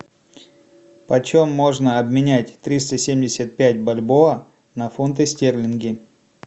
почем можно обменять триста семьдесят пять бальбоа на фунты стерлинги